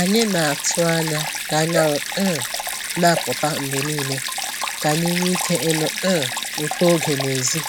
Anyị na-atụ anya ka anyanwụ um na-apụta mgbe niile ka anyị nwee ike ịnụ um ụtọ oge n'èzí